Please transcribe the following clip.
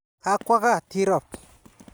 Ga kwo kaa Tirop.